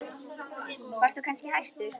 Varst þú kannski hæstur?